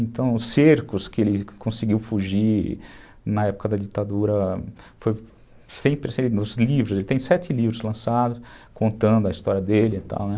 Então, os cercos que ele conseguiu fugir na época da ditadura, foi sempre... Os livros, ele tem sete livros lançados contando a história dele e tal, né?